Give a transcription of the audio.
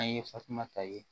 An ye fatumata ye